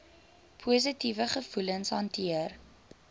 positiewe gevoelens hanteer